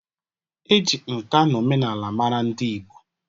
E ji nkà na omenala mara ndị Ịgbo